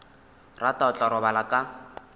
rata o tla robala ka